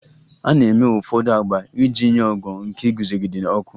A na-eme ụfọdụ agba iji nye ogo nke iguzogide ọkụ.